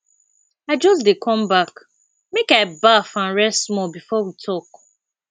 i just dey come back make i baff and rest small before we talk